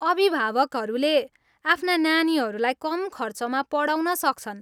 अभिभावकहरूले आफ्ना नानीहरूलाई कम खर्चमा पढाउन सक्छन्।